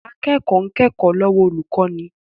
Akẹ́kọ̀ọ́ ń kẹ́kọ̀ọ́ lọ́wọ́ olùkọ́ni